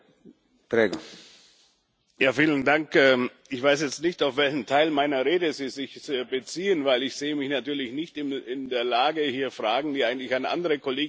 Ich weiß jetzt nicht, auf welchen Teil meiner Rede Sie sich beziehen, denn ich sehe mich natürlich nicht in der Lage, hier Fragen, die eigentlich an andere Kolleginnen und Kollegen gerichtet waren, zu beantworten.